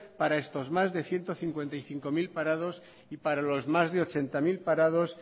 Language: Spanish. para estos más de ciento cincuenta y cinco mil parados y para los más de ochenta mil parados